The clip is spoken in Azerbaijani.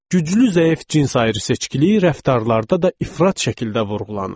Güclü-zəif cins ayrıseçkiliyi rəftarlarda da ifrat şəkildə vurğulanırdı.